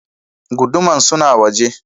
Guduman suna a waje.